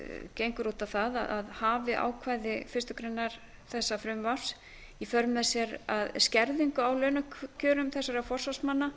gengur út á það að hafi ákvæði fyrstu grein þessa frumvarps í för með sér skerðingu á launakjörum þessara forsvarsmanna